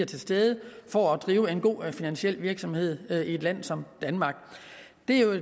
til stede for at drive en god finansiel virksomhed i et land som danmark